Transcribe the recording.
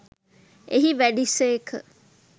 එහි වැඩි සේක